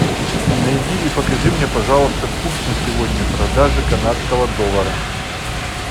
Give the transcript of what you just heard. найди и покажи мне пожалуйста курс на сегодня продажи канадского доллара